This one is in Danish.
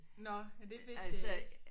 Nåh ja det vidste jeg ikke